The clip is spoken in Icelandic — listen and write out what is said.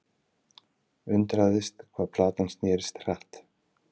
Undraðist hvað platan snerist hratt.